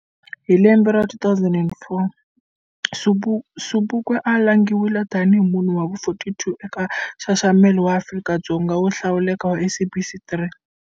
Hi lembe ra 2004 Sobukwe a langhiwile tani hi munhu wa vu 42 eka nxaxamelo wa va Afrika-Dzonga vo hlawuleka wa SABC 3.